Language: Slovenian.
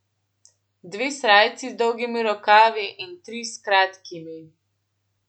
Dve srajci z dolgimi rokavi in tri s kratkimi.